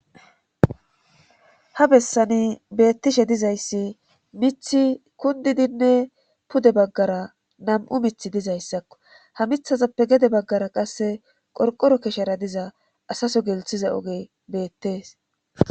Ha bessani beettishe dizayssi mithi kundidinne pude baggara nam7u mithi dizayssakko ha mithazappe gede baggara qasse qorqoro keshara diza asaso gelthiza oge beettees.